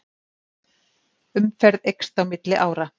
Umferð eykst á milli ára